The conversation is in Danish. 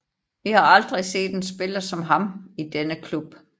Vi har aldrig set en spiller som ham i denne klub